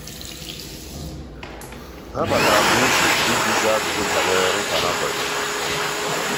há batara kwa ìzù iji zàá ájụ́jụ́ banyere nkwa ha kwèrè.